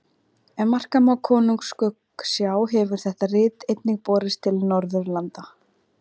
Ef marka má Konungs skuggsjá hefur þetta rit einnig borist til Norðurlanda.